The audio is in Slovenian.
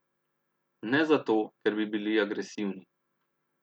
Ne zato, ker bi bili agresivni.